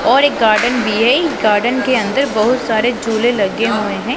और एक गार्डन दिए गार्डन के अंदर बहोत सारे झूले लगे हुए हैं।